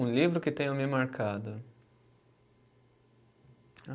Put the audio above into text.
Um livro que tenha me marcado?